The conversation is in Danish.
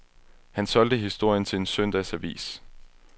Han solgte historien til en søndagsavis.